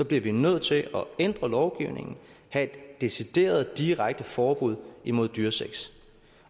bliver vi nødt til at ændre lovgivningen have et decideret direkte forbud imod dyresex